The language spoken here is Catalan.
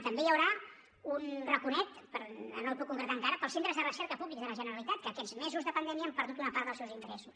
també hi haurà un raconet però no el puc concretar encara per als centres de recerca públics de la generalitat que aquests mesos de pandèmia han perdut una part dels seus ingressos